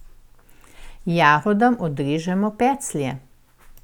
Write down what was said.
Jagodam odrežemo peclje.